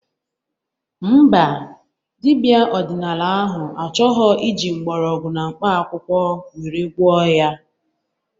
Mba, dibia ọdịnala ahụ achọghọ iji mgbọrọgwụ na mkpa akwụkwọ were gwọọ ya